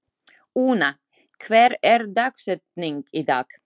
Úna, hver er dagsetningin í dag?